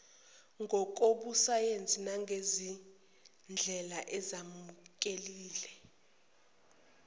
ngokobusayensi nangezindlela ezemukelekile